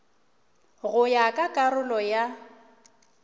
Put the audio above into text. go ya ka karolo ya